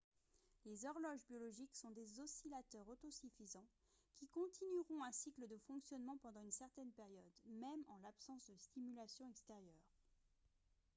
les horloges biologiques sont des oscillateurs autosuffisants qui continueront un cycle de fonctionnement pendant une certaine période même en l'absence de stimulation extérieure